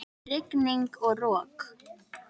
Rigning og rok!